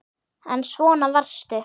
En svona varstu.